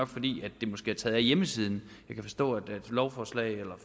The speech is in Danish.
fordi det er taget af hjemmesiden jeg kan forstå at når lovforslag eller